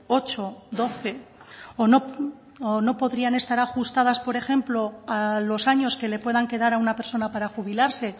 ocho doce o no podrían estar ajustadas por ejemplo a los años que le puedan quedar a una persona para jubilarse